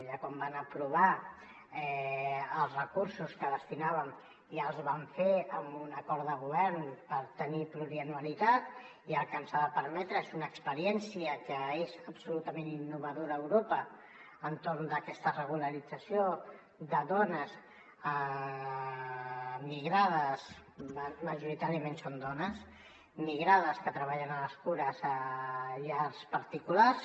ja quan vam aprovar els recursos que hi destinàvem ja els vam fer amb un acord de govern per tenir plurianualitat i el que ens ha de permetre és una experiència que és absolutament innovadora a europa entorn d’aquesta regularització de dones migrades majoritàriament són dones que treballen a les cures a llars particulars